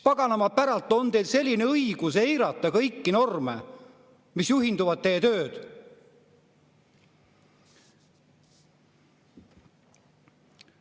Paganama päralt, mis õigus on teil eirata kõiki norme, millest peate oma töös juhinduma?!